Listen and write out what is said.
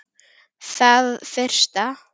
Það fyrsta.